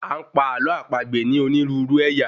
A ń pa àlọ́ àpagbè ní onírúurú ẹ̀yà